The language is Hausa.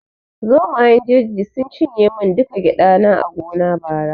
Zomayen jeji sun cinye mun duka gyada na a gona bara